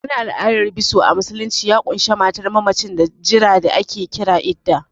Wani al'adar biso a musulunci ya ƙunshi matar mammacin da jira da ake kira Iddah